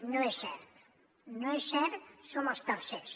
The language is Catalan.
no és cert no és cert som els tercers